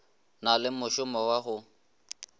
na le mošomo wa go